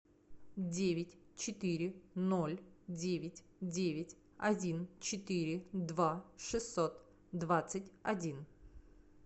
девять четыре ноль девять девять один четыре два шестьсот двадцать один